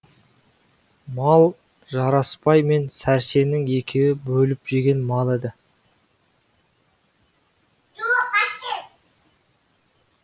мал жарасбай мен сәрсеннің екеуі бөліп жеген мал еді